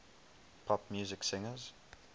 pop music singers